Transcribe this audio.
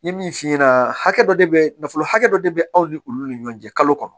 N ye min f'i ɲɛna hakɛ dɔ de bɛ nafolo hakɛ dɔ de bɛ aw ni olu ni ɲɔgɔn cɛ kalo kɔnɔ